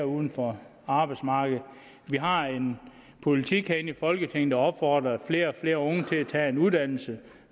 uden for arbejdsmarkedet vi har en politik herinde i folketinget der opfordrer flere og flere unge til at tage en uddannelse